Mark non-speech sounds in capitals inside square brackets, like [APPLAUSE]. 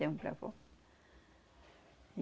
Temos para. [UNINTELLIGIBLE]